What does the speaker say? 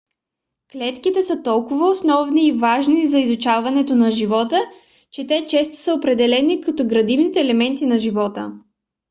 клетките са толкова основни и важни за изучаването на живота че те често са определяни като градивните елементи на живота